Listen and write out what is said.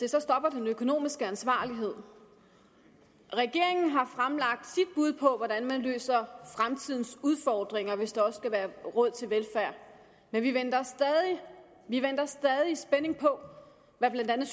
at så stopper den økonomiske ansvarlighed regeringen har fremlagt sit bud på hvordan man løser fremtidens udfordringer hvis der også skal være råd til velfærd men vi venter vi venter stadig i spænding på hvad blandt andet